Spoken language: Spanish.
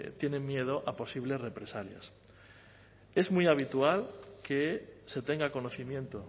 tienen miedo a posibles represalias es muy habitual que se tenga conocimiento